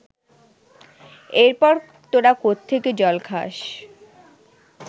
এরপর তোরা কোত্থেকে জল খাস